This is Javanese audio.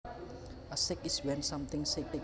A shake is when something shakes